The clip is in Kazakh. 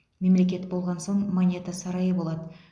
мемлекет болған соң монета сарайы болады